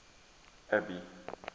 abby